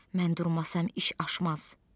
Mən durmasam iş aşmaz.